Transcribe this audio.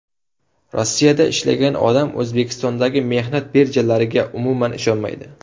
Rossiyada ishlagan odam O‘zbekistondagi mehnat birjalariga umuman ishonmaydi.